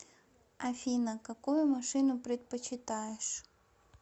афина какую машину предпочитаешь